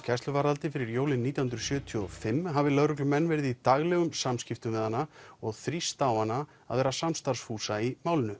gæsluvarðhaldi fyrir jólin nítján hundruð sjötíu og fimm hafi lögreglumenn verið í daglegum samskiptum við hana og þrýst á hana að vera samstarfsfús í málinu